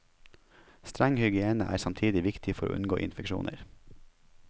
Streng hygiene er samtidig viktig for å unngå infeksjoner.